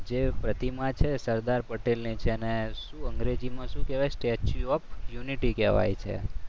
જે પ્રતિમા છે સરદાર પટેલની છે એને શું અંગ્રેજીમાં શું કહેવાય સ્ટેચ્યુ ઓફ યુનિટી કહેવાય છે.